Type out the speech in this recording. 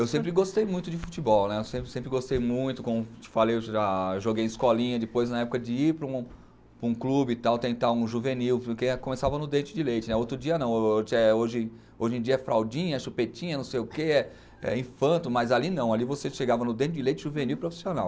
Eu sempre gostei muito de futebol, né, eu sempre sempre gostei muito, como te falei, eu já, eu joguei em escolinha, depois na época de ir para um, para um clube e tal, tentar um juvenil, porque começava no dente de leite né, outro dia não, hoje em dia é fraldinha, chupetinha, não sei o que, é infanto, mas ali não, ali você chegava no dente de leite juvenil profissional.